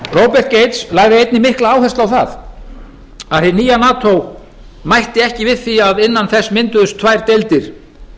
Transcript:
robert gates lagði einnig mikla áherslu á það að hið nýja nato mætti ekki við því að innan þess mynduðust tvær deildir